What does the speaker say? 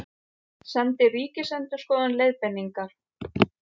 Sendi Ríkisendurskoðun leiðbeiningar